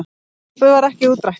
Frumvarpið varð ekki útrætt.